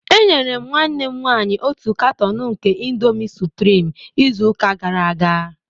Enyere m nwanne m nwanyị otu canton nke Indomie supreme izu ụka gara aga